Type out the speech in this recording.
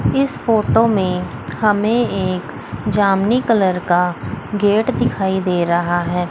इस फोटो में हमें एक जामुनी कलर का गेट दिखाई दे रहा है।